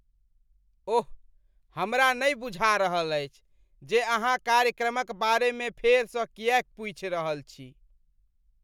ओह, हमरा नहि बुझा रहल अछि जे अहाँ कार्यक्रमक बारेमे फेरसँ किएक पूछि रहल छी!